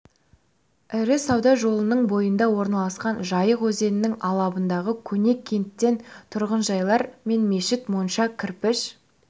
ірі сауда жолының бойында орналасқан жайық өзенінің алабындағы көне кенттен тұрғынжайлар мен мешіт монша кірпіш